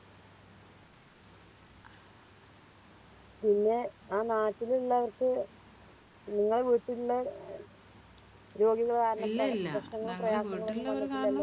പിന്നെ ആ നാട്ടിലിള്ളവർക്ക് നിങ്ങളെ വീട്ടിലിള്ളേ രോഗികള് കാരണം